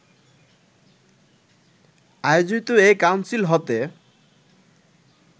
আয়োজিত এ কাউন্সিল হতে